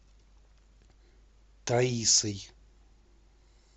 таисой